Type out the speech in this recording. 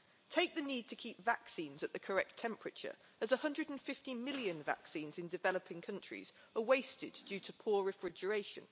Take the need to keep vaccines at the correct temperature, as 150 million vaccines in developing countries are wasted due to poor refrigeration.